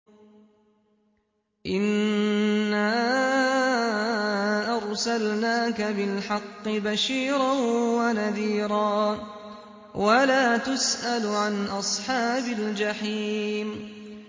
إِنَّا أَرْسَلْنَاكَ بِالْحَقِّ بَشِيرًا وَنَذِيرًا ۖ وَلَا تُسْأَلُ عَنْ أَصْحَابِ الْجَحِيمِ